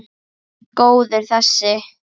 Góður þessi!